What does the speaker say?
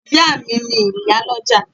Ìyá à mi ni ìyálọ́jà